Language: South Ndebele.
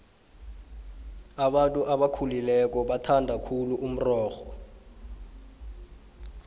abantu abakhulileko bathanda khulu umrorho